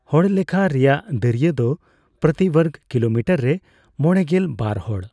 ᱦᱚᱲᱞᱮᱠᱷᱟ ᱨᱮᱭᱟᱜ ᱫᱟᱹᱲᱭᱟᱹ ᱫᱚ ᱯᱨᱚᱛᱤ ᱵᱚᱨᱜᱚ ᱠᱤᱞᱳᱢᱤᱴᱟᱨ ᱨᱮ ᱢᱚᱲᱮᱜᱮᱞ ᱵᱟᱨ ᱦᱚᱲ ᱾